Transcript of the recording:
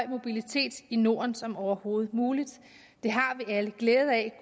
mobilitet i norden som overhovedet muligt det har vi alle glæde af